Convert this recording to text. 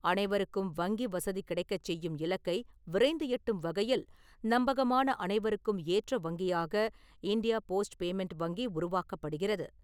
அனைவருக்கும் வங்கி வசதி கிடைக்கச் செய்யும் இலக்கை விரைந்து எட்டும் வகையில் நம்பகமான அனைவருக்கும் ஏற்ற வங்கியாக இண்டியா போஸ்ட் பேமெண்ட் வங்கி உருவாக்கப்படுகிறது.